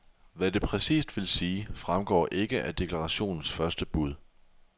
Hvad det præcist vil sige, fremgår ikke af deklarationens første bud.